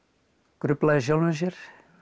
grufla í sjálfum sér